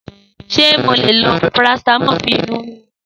Sé mo le lo parasitamọ̀ fún inú rìrún?